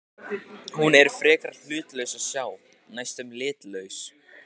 Hún er frekar hlutlaus að sjá, næstum litlaus.